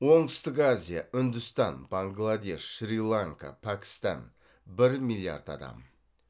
оңтүстік азия үндістан бангладеш шри ланка пәкістан бір миллиард адам